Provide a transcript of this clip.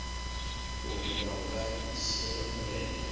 uri vha nga shela mulenzhe